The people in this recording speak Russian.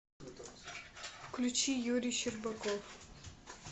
включи юрий щербаков